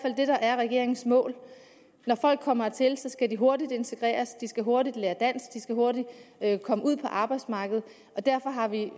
er regeringens mål når folk kommer hertil skal de hurtigt integreres de skal hurtigt lære dansk de skal hurtigt komme ud på arbejdsmarkedet og derfor har vi